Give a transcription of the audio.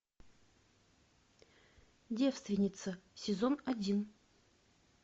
девственница сезон один